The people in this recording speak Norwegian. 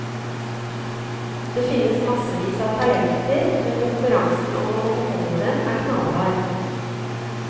Det finnes massevis av talenter, men konkurransen om å få beholde dem er knallhard.